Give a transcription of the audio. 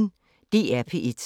DR P1